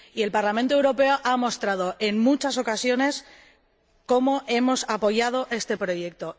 Y el Parlamento Europeo ha mostrado, en muchas ocasiones, cómo hemos apoyado este proyecto